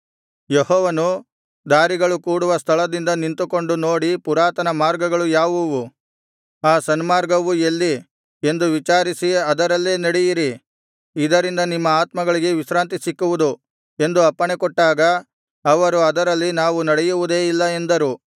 ಯೆಹೋವನು ದಾರಿಗಳು ಕೂಡುವ ಸ್ಥಳದಲ್ಲಿ ನಿಂತುಕೊಂಡು ನೋಡಿ ಪುರಾತನ ಮಾರ್ಗಗಳು ಯಾವುವು ಆ ಸನ್ಮಾರ್ಗವು ಎಲ್ಲಿ ಎಂದು ವಿಚಾರಿಸಿ ಅದರಲ್ಲೇ ನಡೆಯಿರಿ ಇದರಿಂದ ನಿಮ್ಮ ಆತ್ಮಗಳಿಗೆ ವಿಶ್ರಾಂತಿ ಸಿಕ್ಕುವುದು ಎಂದು ಅಪ್ಪಣೆಕೊಟ್ಟಾಗ ಅವರು ಅದರಲ್ಲಿ ನಾವು ನಡೆಯುವುದೇ ಇಲ್ಲ ಎಂದರು